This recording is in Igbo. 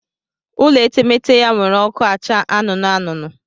Ụlọ etemete ya were oku acha anụnụ anụnụ